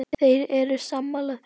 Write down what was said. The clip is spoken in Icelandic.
Þeir eru sammála því.